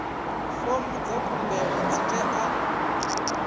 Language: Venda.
fomo dza khumbelo dzi tea